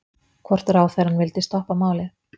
Hvort ráðherrann vildi stoppa málið?